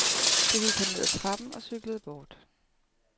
Så gik han ned ad trappen og cyklede bort.